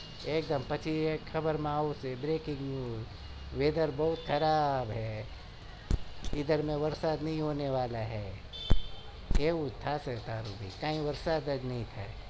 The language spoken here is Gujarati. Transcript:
પછી ખબર માં આવશે breaking news weather બઉ ખબર છે કિધર પણ વરસાદ નહિ હોને વાલા હે એવું થશે